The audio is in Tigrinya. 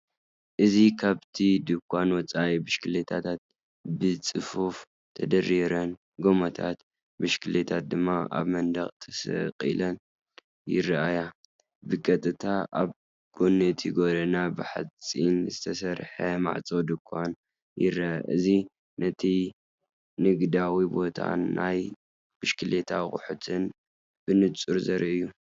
እዚ ካብቲ ድኳን ወጻኢ፡ ብሽክለታታት ብጽፉፍ ተደራሪበን፡ ጎማታት ብሽክለታ ድማ ኣብ መንደቕ ተሰቒለን ይረኣያ። ብቐጥታ ኣብ ጎኒ እቲ ጎደና ብሓጺን ዝተሰርሐ ማዕፆ ድኳን ይርአ። እዚ ነቲ ንግዳዊ ቦታን ናይ ብሽክለታ ኣቑሑትን ብንጹር ዘርኢ እዩ።”